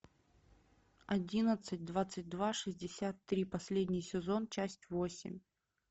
одиннадцать двадцать два шестьдесят три последний сезон часть восемь